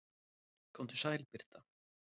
Komdu sæl Birta.